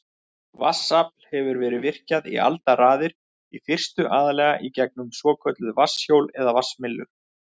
Vatnsafl hefur verið virkjað í aldaraðir, í fyrstu aðallega í gegnum svokölluð vatnshjól eða vatnsmyllur.